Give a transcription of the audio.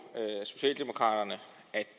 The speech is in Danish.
socialdemokraterne at